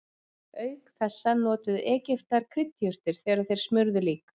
Auk þessa notuðu Egyptar kryddjurtir þegar þeir smurðu lík.